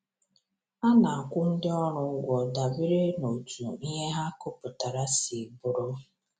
A na-akwụ ndị ọrụ ụgwọ dabere n’otú ihe ha kụpụturu si bụrụ.